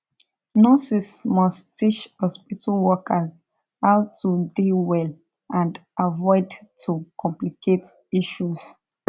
nurses must teach hospitu workers how to dey well and avoid to complicate issues